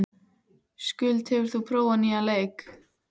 Skuld, hefur þú prófað nýja leikinn?